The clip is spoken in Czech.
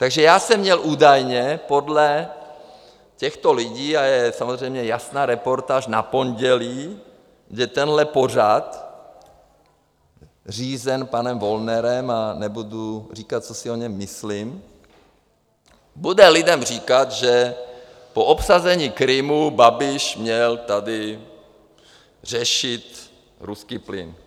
Takže já jsem měl údajně podle těchto lidí, a je samozřejmě jasná reportáž na pondělí, kde tenhle pořad řízený panem Wollnerem, a nebudu říkat, co si o něm myslím - bude lidem říkat, že po obsazení Krymu Babiš měl tady řešit ruský plyn.